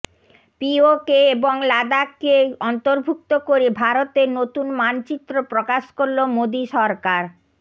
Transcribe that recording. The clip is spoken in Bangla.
পিওকে এবং লাদাখকে অন্তর্ভুক্ত করে ভারতের নতুন মানচিত্র প্রকাশ করল মোদি সরকার